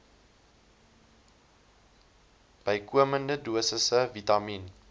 bykomende dosisse vitamien